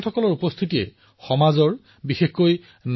মই নিশ্চিত যে এই আলোচনাই আমাৰ নতুন প্ৰজন্মক এক নতুন দিশ প্ৰদান কৰিব